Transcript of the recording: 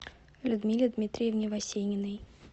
людмиле дмитриевне васениной